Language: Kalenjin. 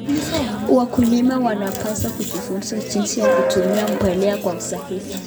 Wakulima wanapaswa kujifunza jinsi ya kutumia mbolea kwa usahihi.